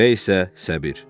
C-1-ə isə səbir.